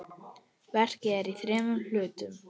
Verkið er í þremur hlutum.